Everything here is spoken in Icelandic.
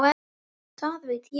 Það ég veit.